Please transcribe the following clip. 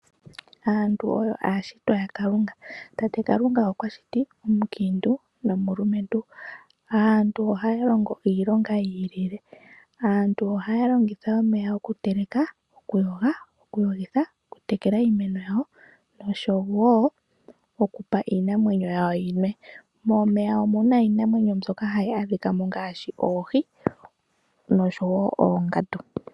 Aantu oyo ashitwa yaKalunga mpoka pwashitwa omukintu nomulumentu, yo ohaya longo iilonga yili. Aantu oha ya longitha omeya oku teleka, oku yoga, oku tekela iimeno yawo oshowo oku pa iinamwenyo ya wo. Momeya omuna iinamwenyo mbyoka ha yi adhi kamo ngashi oohi, noshowo oongandu.